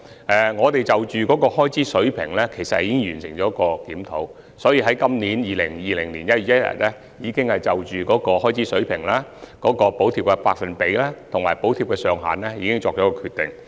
不過，就開支水平而言，我們已完成檢討，並在本年1月1日起就開支水平、補貼百分比及補貼額上限作出決定。